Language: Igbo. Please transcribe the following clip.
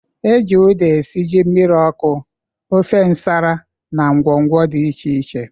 E ji uda esi ji mmiri ọkụ, ofe nsala na ngwọngwọ dị iche iche.